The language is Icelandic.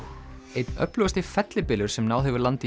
einn öflugasti fellibylur sem náð hefur landi